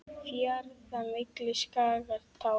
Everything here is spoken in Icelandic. Fjarða milli skagar tá.